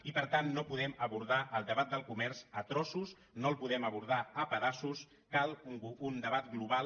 i per tant no podem abordar el debat del comerç a trossos no el podem abordar a pedaços cal un debat global